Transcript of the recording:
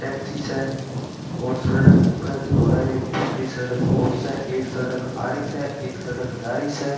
टैक्सी स सड़क के पास एक दूसरी सड़क और स एक सड़क आ रही स एक सड़क जा रही स।